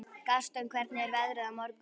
Gaston, hvernig er veðrið á morgun?